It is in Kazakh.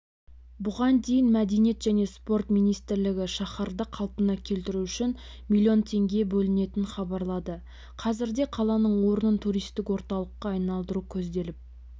бұған дейін мәдениет және спорт министрлігі шаһарды қалпына келтіру үшін миллион теңге бөлетінін хабарлады қазірде қаланың орнын туристік орталыққа айналдыру көзделіп